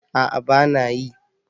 A'a bana yi